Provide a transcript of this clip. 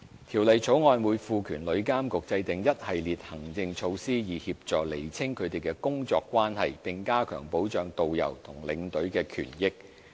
《條例草案》會賦權旅監局制訂一系列行政措施，以協助釐清他們的工作關係，並加強保障導遊和領隊的權益。